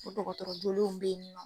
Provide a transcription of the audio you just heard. O dɔgɔtɔrɔ jolenw be yen